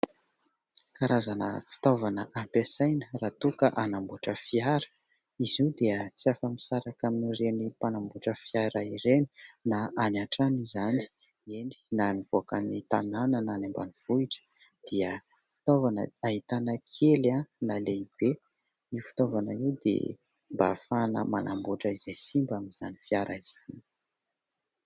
Karazana fitaovana ampiasaina raha toa ka hanamboatra fiara. Izy io dia tsy afa-misaraka amin'ireny mpanamboatra fiara ireny na any an-trano izany, eny, na nivoaka ny tanàna na any ambanivohitra dia fitaovana ahitana kely na lehibe. Io fitaovana io dia mba ahafahana manamboatra izay simba amin'izany fiara izany.